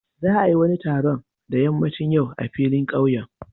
Za a yi wani taron da ƴammacin yau a filin ƙauyen.